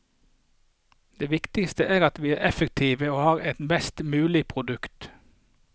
Det viktigste er at vi er effektive og har et best mulig produkt.